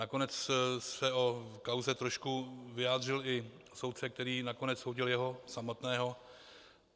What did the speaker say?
Nakonec se o kauze trošku vyjádřil i soudce, který nakonec soudil jeho samotného.